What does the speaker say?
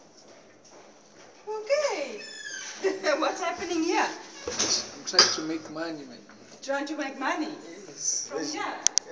imicimbi yekungena emnyakeni lomusha